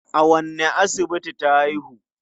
A wanne asibiti ta haihu?